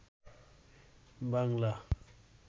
Bangla